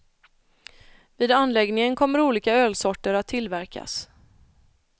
Vid anläggningen kommer olika ölsorter att tillverkas.